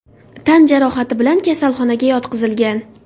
tan jarohati bilan kasalxonaga yotqizilgan.